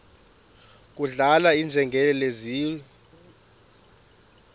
kudlala iinjengele zidliwa